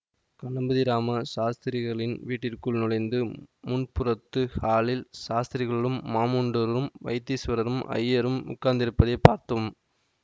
கணபதிராம சாஸ்திரிகளின் வீட்டிற்குள் நுழைந்ததும் முன்புறத்து ஹாலில் சாஸ்திரிகளும் மாமண்டூர் வைத்தீசுவர ஐயரும் உட்கார்ந்திருப்பதைப் பார்த்தோம்